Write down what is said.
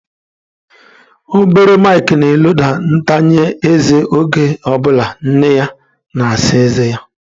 Obere Mike na-eloda ntanya eze oge ọ bụla nne ya na-asa ezé ya.